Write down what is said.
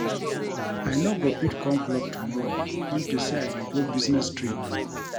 I no go fit come club tomorrow unto say I dey go business trip